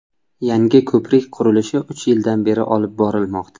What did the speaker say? Yangi ko‘prik qurilishi uch yildan beri olib borilmoqda.